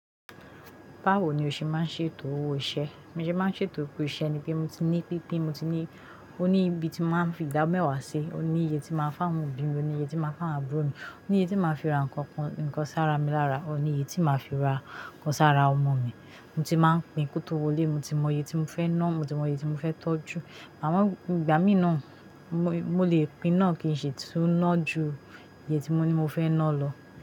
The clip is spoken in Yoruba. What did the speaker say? Báwo ni o ṣe máa ń ṣe ètò owó iṣẹ́? Mi ò ṣe máa ń ṣe ètò pé iṣẹ́ ni pé mo ti ní títí mo ti ní, ó ní ibi tí máa ń fi dá mẹ́wàá sí, ó ní iye tí máa ń fáwọn òbí mi, ó ní iye tí máa ń fá àbúrò mi, ó ní iye tí máa ń fi ra nǹkan kan, nǹkan sára mi lára, ó ní iye tí máa fi ra nǹkan sára ọmọ mi. Mo ti máa ń pín kó tó wọlé, mo ti mọ iye tí mo fẹ́ ná, mo ti mọ iye tí mo fẹ́ tọ́jú. Àmo ìgbà mìíràn, mo, mo lè pín náà kí n sì tún ná ju iye tí mo ní mo fẹ́ ná lọ.